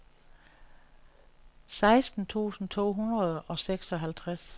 seksten tusind to hundrede og seksoghalvtreds